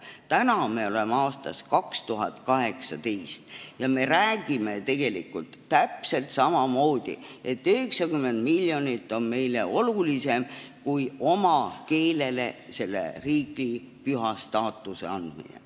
Täna me oleme aastas 2018 ja me räägime tegelikult täpselt samamoodi, et 90 miljonit on meile olulisem kui oma keele päevale riigipüha staatuse andmine.